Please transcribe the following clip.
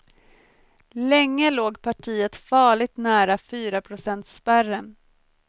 Länge låg partiet farligt nära fyraprocentsspärren.